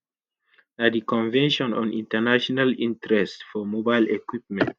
na di convention on international interests for mobile equipment.